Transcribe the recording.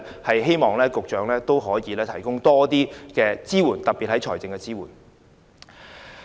我希望局長可以提供更多支援，特別是財政方面。